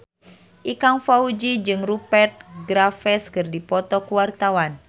Ikang Fawzi jeung Rupert Graves keur dipoto ku wartawan